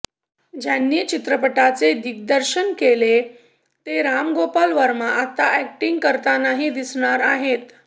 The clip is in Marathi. ज्यांनी चित्रपटाचे दिग्दर्शन केले ते राम गोपाळ वर्मा आता अॅक्टिंग करतानाही दिसणार आहेत